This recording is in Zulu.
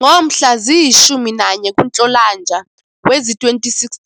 Ngomhla ziyi-11 kuNhlolanja wezi-2016,